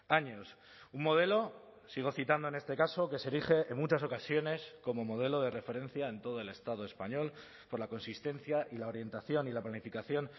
años un modelo sigo citando en este caso que se erige en muchas ocasiones como modelo de referencia en todo el estado español por la consistencia y la orientación y la planificación